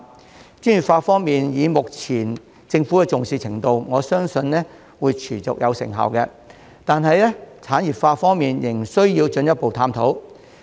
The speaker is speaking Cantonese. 在專業化方面，觀乎政府目前的重視程度，我相信會持續有成效，但在產業化方面，則仍需進一步探討。